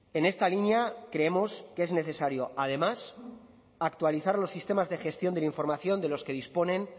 en esta línea creemos que es necesario además actualizar los sistemas de gestión de información de los que disponen